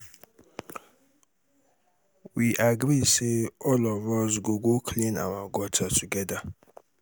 we agree say all of us go go clean our gutter together.